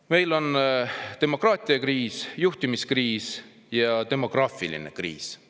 Meil on demokraatiakriis, juhtimiskriis ja demograafiline kriis.